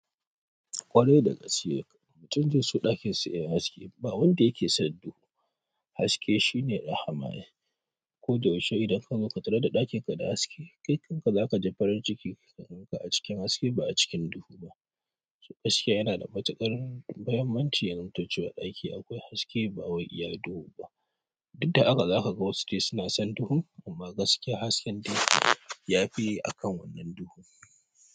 Ƙwarai da gaske, mutum zai so ɗakin sa yayi haske ba wanda yake son duhu. Haske shine da rahama ae. Ko da yaushe idan ka zo ka tarar da ɗakin ka da haske, kai kanka za ka ji farin ciki ka gan ka a cikin haske ba a cikin duhu ba. Haske yana da matuƙar mahimmanci in ka ciyo aiki akwai haske ba wai iya duhu ba. Duk da haka zaka ga wasu dai suna son duhu amma gaskiya hasken dai yafi a kan wannan duhu.